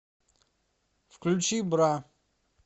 включи бра